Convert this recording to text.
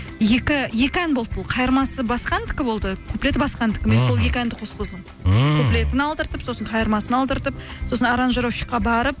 екі ән болды бұл қайырмасы басқа әндікі болды куплеті басқа әндікі сол әнді қосқыздым ммм куплетін алдыртып сосын қайырмасын алдыртып сосын аранжировщикке барып